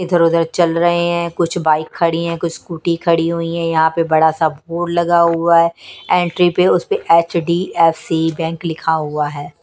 इधर-उधर चल रहे हैं कुछ बाइक खड़ी हैं कुछ स्कूटी खड़ी हुई हैं यहाँ पे बड़ा सा बोर्ड लगा हुआ है एंट्री पे उस पे H_ D_ F_ C bank लिखा हुआ है।